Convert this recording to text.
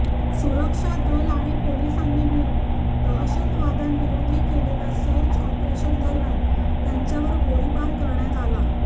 सुरक्षा दल आणि पोलिसांनी मिळून दहशतवाद्यांविरोधी केलेल्या सर्ज ऑपरेशनदरम्यान त्यांच्यावर गोळीबार करण्यात आला